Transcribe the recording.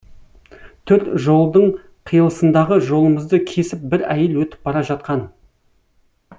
төрт жолдың қиылысындағы жолымызды кесіп бір әйел өтіп бара жатқан